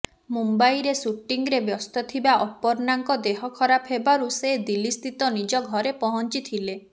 ମୁମ୍ବାଇରେ ସୁଟିଂରେ ବ୍ୟସ୍ତ ଥିବା ଅପର୍ଣ୍ଣାଙ୍କ ଦେହ ଖରାପ ହେବାରୁ ସେ ଦିଲ୍ଲୀସ୍ଥିତ ନିଜ ଘରେ ପହଞ୍ଚିଥିଲେ